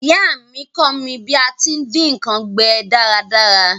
Ìyá mí kọ́ mí bí a ti n dín nkan gbẹ dáradára